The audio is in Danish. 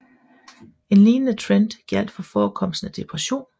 En lignende trend gjaldt for forekomsten af depression